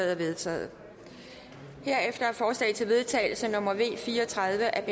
er vedtaget herefter er forslag til vedtagelse nummer v fire og tredive af